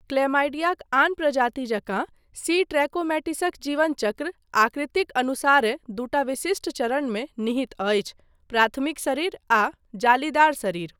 क्लैमाइडियाक आन प्रजाति जकाँ सी ट्रैकोमैटिसक जीवन चक्र आकृतिक अनुसारेँ दूटा विशिष्ट चरणमे निहित अछि, प्राथमिक शरीर आ जालीदार शरीर।